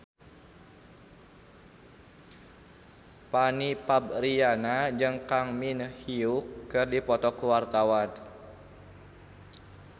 Fanny Fabriana jeung Kang Min Hyuk keur dipoto ku wartawan